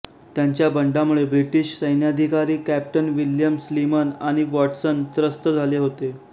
त्यांच्या बंडामुळे ब्रिटिश सैन्याधिकारी कॅप्टन विल्यम स्लीमन आणि वाॅटसन त्रस्त झाले होते